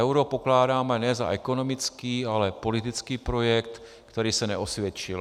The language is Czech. Euro pokládáme ne za ekonomický, ale politický projekt, který se neosvědčil.